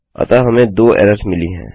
अतः हमें २ एरर्स मिली हैं